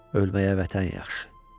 Ölməyə vətən yaxşı.